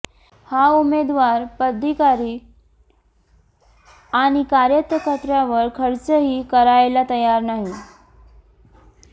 हा उमेदवार पदाधिकारी आणि कार्यकर्त्यांवर खर्चही करायला तयार नाही